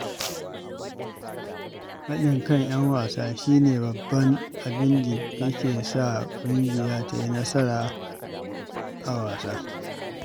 Haɗin kan ƴan wasa shi ne babban abinda ya ke sa ƙungiya ta yi nasara a wasa.